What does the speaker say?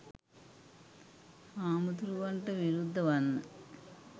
හාමුදුරුවන්ට විරුද්ධ වන්න